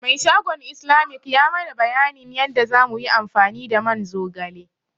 Mai shagon Islamic ya mana bayanin yanda za muyi amfani da man zogale.